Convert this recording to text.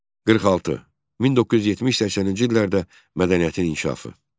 46. 1970-80-ci illərdə mədəniyyətin inkişafı.